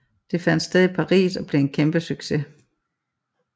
Det fandt sted i Paris og blev en kæmpe succes